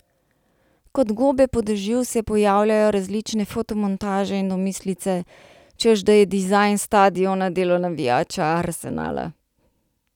Kot gobe po dežju se pojavljajo različne fotomontaže in domislice, češ da je dizajn stadiona delo navijača Arsenala.